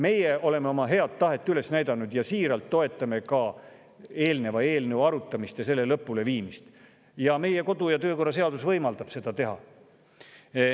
Meie oleme oma head tahet üles näidanud ja siiralt toetame ka eelmise eelnõu arutamist ja lõpuleviimist, meie kodu- ja töökorra seadus võimaldab seda teha.